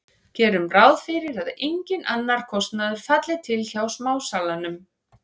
Gerum ráð fyrir að enginn annar kostnaður falli til hjá smásalanum.